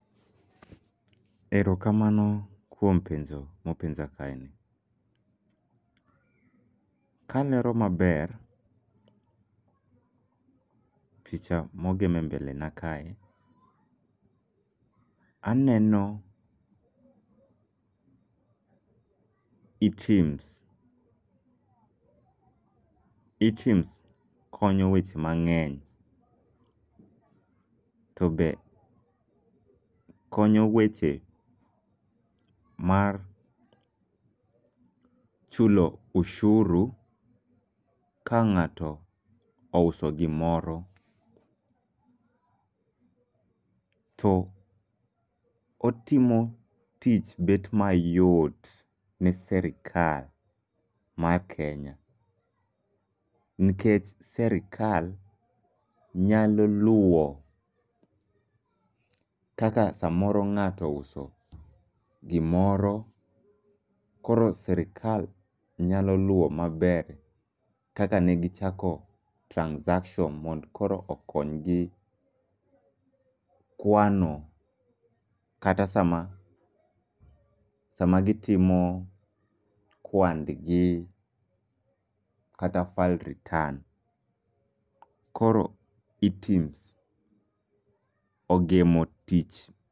Erokamano kuom penjo ma openja kaeni. Kalero maber picha ma ogem embelena kae, aneno eTims. eTiMs konyo eweche mang'eny to be konyo weche mar chulo osuru ka ng'ato ouso gimoro to otimo tich bet mayot ni sirkal mar Kenya nikech sirkal nyalo luwo kaka samoro ng'ato ouso gimoro koro sirkal nyalo luwo maber kaka ne gichako transactions mondo koro okony gi kwano kata sama sama gitimo kwandgi kata file return koro eTiMs ogemo tich.